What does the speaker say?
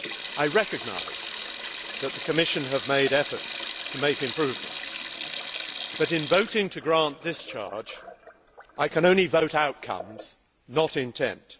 I recognise that the Commission has made efforts to make improvements, but in voting to grant discharge I can only vote outcomes, not intent.